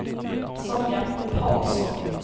Sonja Paulsson